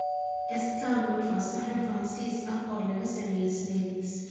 Escargot waa saxan Faransiis ah oo laga sameeyay snails.